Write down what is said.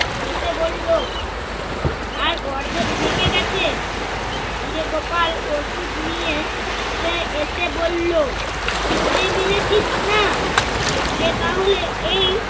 রেখে বলল, আর অর্ধেক ভেঙ্গে গেছে। ফিরে গোপাল ওষুধ নিয়ে সে এসে বললো- পিঁপড়ে মেরেছিস না, পিঁপড়ে তাহলে এই